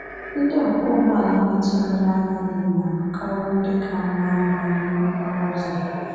Ndị ọkwọ ụgbọala metụrụla agadi na-abụkarị ndị ka nwee ahụmahụ n’okporo ụzọ.